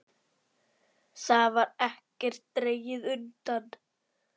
Þar var ekkert dregið undan.